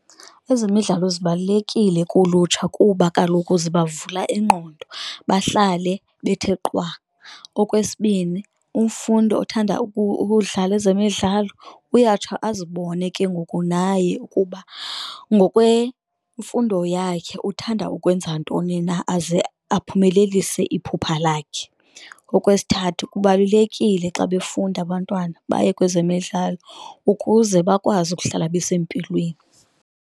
Ezemidlalo zibalulekile kulutsha kuba kaloku ziba vula ingqondo bahlale bethe qwa. Okwesibini, umfundi othanda ukudlala ezemidlalo uyatsho azibone ke ngoku naye ukuba ngokwemfundo yakhe uthanda ukwenza ntoni na, aze aphumelelise iphupha lakhe. Okwesithathu, kubalulekile xa befunda abantwana baye kwezemidlalo ukuze bakwazi ukuhlala besempilweni.